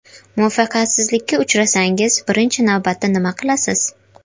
Muvaffaqiyatsizlikka uchrasangiz, birinchi navbatda nima qilasiz?